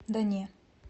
да не